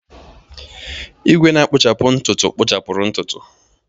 Igwe na-akpuchapu ntutu kpụchapuru ntutu.